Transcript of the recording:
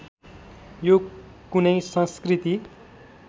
यो कुनै संस्कृति